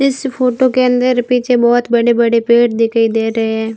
इस फोटो के अंदर पीछे बहोत बड़े बड़े पेड़ दिखाई दे रहें हैं।